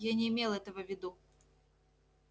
я не имел этого в виду